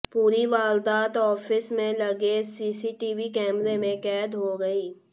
पूरी वारदात आफिस में लगे सीसीटीवी कैमरे में कैद हो गई